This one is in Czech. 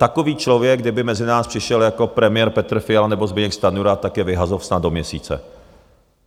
Takový člověk kdyby mezi nás přišel, jako premiér Petr Fiala nebo Zbyněk Stanjura, tak je vyhazov snad do měsíce.